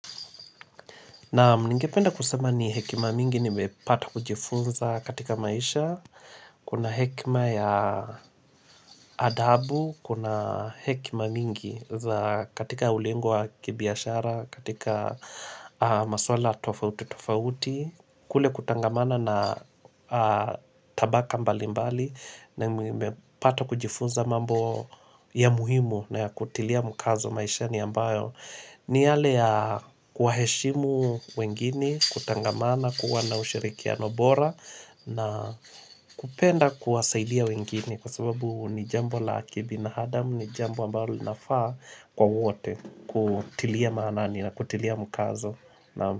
Naam, ningependa kusema ni hekima mingi nimepata kujifunza katika maisha, kuna hekima ya adabu, kuna hekima mingi za katika ulingo wa kibiashara, katika maswala tofauti tofauti, kule kutangamana na tabaka mbali mbali na nimepata kujifunza mambo ya muhimu na ya kutilia mkazo maishani ambayo. Ni yale ya kuwaheshimu wengine, kutangamana, kuwa na ushirikiano bora na kupenda kuwasaidia wengine kwa sababu ni jambo la kibinaadam, ni jambo ambalo linafaa kwa wote, kutilia maanani na kutilia mkazo, Naam.